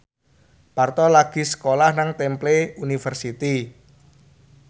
Parto lagi sekolah nang Temple University